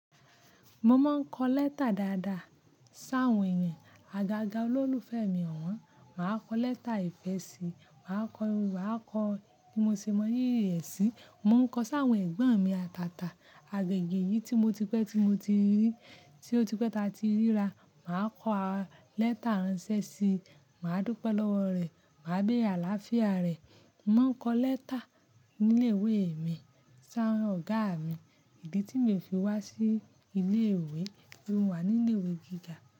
Mo máa ń kọ lẹ́tà dáadáa sáwọn èèyàn. Àgàgà olólùfẹ́ mi ọ̀wọ́n, màá kọ lẹ́tà ìfẹ́ sí i, màá kọ, màá kọ bí mo se mọ rírí ẹ̀ sí i. Mo mọ ń kọ sáwọn ẹ̀gbọ́n mi àtàtà, agaga eyìí tí mo ti pẹ́, tí mo ti rí, tí ó ti pẹ́ ta ti ríra. Màá kọ lẹ́tà ránṣẹ́ sí i, màá dúpẹ́ lọ́wọ́ rẹ̀, màá gbé àlàáfíà rẹ̀. Mo mọ ń kọ lẹ́tà ní ilé ìwé mi sáwọn ọ̀gá mi. Ìdí tí mi o fi wá sí ilé ìwé, tori mo wà ní ilé ìwé gíga.